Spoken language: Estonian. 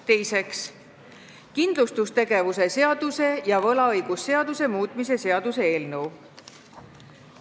Teiseks, kindlustustegevuse seaduse ja võlaõigusseaduse muutmise seaduse eelnõu.